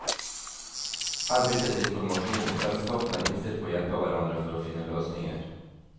Her byttes informasjon, og selskapene er innstilt på å hjelpe hverandre for å finne løsninger.